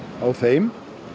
á þeim